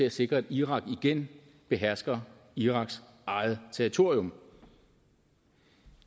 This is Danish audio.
at sikre at irak igen behersker iraks eget territorium